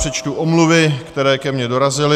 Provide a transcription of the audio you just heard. Přečtu omluvy, které ke mně dorazily.